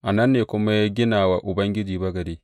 A nan ne kuma ya gina wa Ubangiji bagade.